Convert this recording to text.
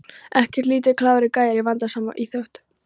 Ekkert lítið klárir gæjar í vandasamri íþrótt!